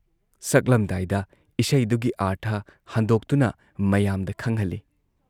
ꯁꯛꯂꯝꯗꯥꯏꯗ ꯏꯁꯩꯗꯨꯒꯤ ꯑꯥꯔꯊ ꯍꯟꯗꯣꯛꯇꯨꯅ ꯃꯌꯥꯝꯗ ꯈꯪꯍꯜꯂꯤ ꯫